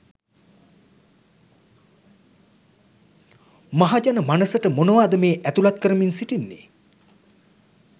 මහජන මනසට මොනවාද මේ ඈතුලත් කරමින් සිටින්නේ?